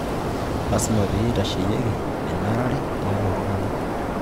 Lasima peyie itasheyieki enarare tialo iltung'anak